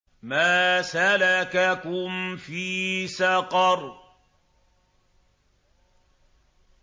مَا سَلَكَكُمْ فِي سَقَرَ